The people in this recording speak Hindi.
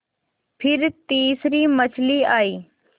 फिर तीसरी मछली आई